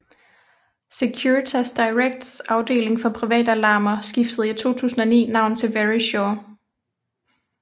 Securitas Directs afdeling for privatalarmer skiftede i 2009 navn til Verisure